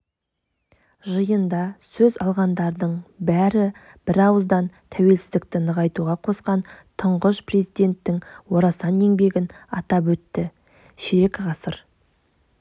жиында сөз алғандардың бәрі бірауыздан тәуелсіздікті нығайтуға қосқан тұңғыш президенттің орасан еңбегін атап өтті ширек ғасыр